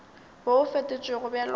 wo o fetotšwego bjalo ka